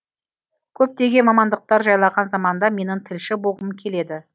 көптеген мамандықтар жайлаған заманда менің тілші болғым келеді